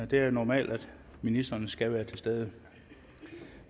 det er normalt at ministeren skal være til stede